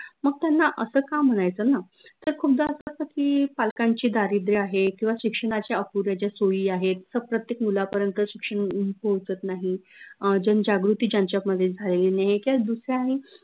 मग त्यांना असं का म्हनायचं न त खूपदा असं असत की पालकांचे दारिद्र्य आहे किंव्हा शिक्षनाच्या अपुऱ्या ज्या सोई आहेत प्रत्येक मुला पर्यंत शिक्षन पोहोचत नाही अं जनजागृती ज्यांच्यामध्ये झालेली नाई किंव्हा दुसऱ्याही